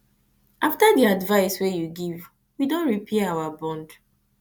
after di advice wey you give we don dey repair our bond